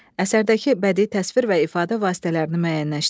Əsərdəki bədii təsvir və ifadə vasitələrini müəyyənləşdirin.